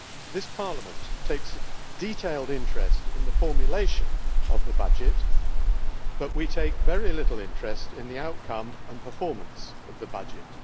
This Parliament takes a keen interest in the formulation of the budget, but we take very little interest in the outcome and performance of the budget.